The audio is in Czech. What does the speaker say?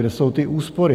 Kde jsou ty úspory?